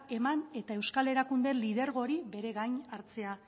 eman eta euskal erakunde lidergo hori bere gain hartzea